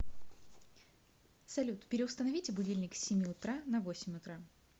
салют переустановите будильник с семи утра на восемь утра